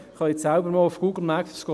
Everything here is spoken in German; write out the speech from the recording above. Schauen Sie einmal auf Google Maps: